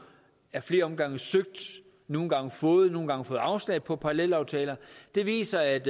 af flere omgange søgt nogle gange fået godkendelse nogle gange fået afslag på parallelaftaler viser at